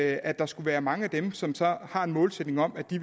at der skulle være mange af dem som har en målsætning om at de